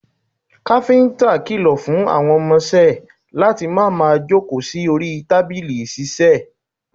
Kápíntà kìlọ̀ fún àwọn ọmọ isẹ́ ẹ̀ láti má máa jókòó sí orí tábìlì ìṣiiṣẹ́ ẹ̀